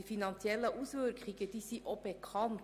Die finanziellen Auswirkungen sind bekannt.